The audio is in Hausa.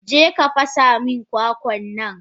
Jeka fasa min kwakwannan!